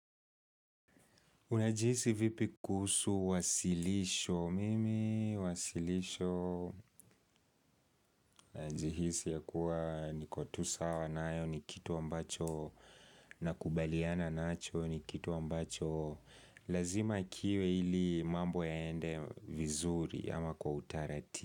Unajihisi vipi kusu wasilisho? Mimi, wasilisho. Najihisi ya kuwa niko tu sawa nayo ni kitu ambacho ninakubaliana nacho ni kitu ambacho. Lazima kiwe ili mambo yaende vizuri ama kwa utaratibu.